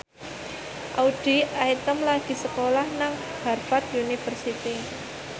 Audy Item lagi sekolah nang Harvard university